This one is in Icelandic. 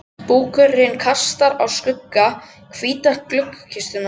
Búkurinn kastar skugga á hvíta gluggakistuna.